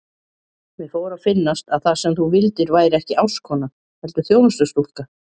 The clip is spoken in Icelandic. Mér fór að finnast að það sem þú vildir væri ekki ástkona heldur þjónustustúlka.